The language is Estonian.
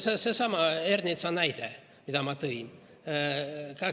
Seesama Ernitsa näide, mille ma tõin.